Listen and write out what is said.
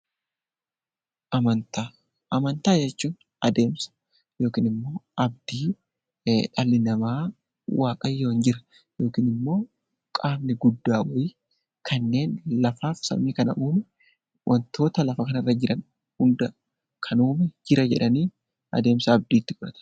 Amantaa jechuun adeemsa yookiin abdii dhalli namaa waaqayyo jira yookaan immoo qaamni guddaa uume kanneen lafaa fi samii kana uume wantoota lafa kanarra jira hunda kan uume jira jedhanii abdii godhachuudha.